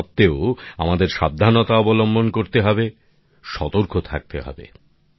তা সত্ত্বেও আমাদের সাবধান ও সতর্ক থাকতে হবে